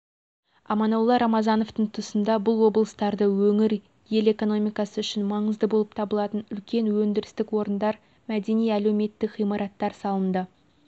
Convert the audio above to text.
аманолла рамазановтың тұсында бұл облыстарды өңір ел экономикасы үшін маңызды болып табылатын үлкен өндірістік орындар мәдени-әлеуметтік ғимараттар салынды